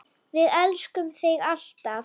Við elskum þig alltaf.